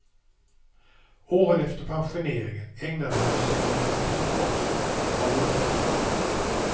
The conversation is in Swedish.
Åren efter pensioneringen ägnade han sig åt arkivforskning av olika slag.